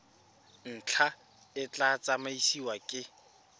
ntlha e tla tsamaisiwa ke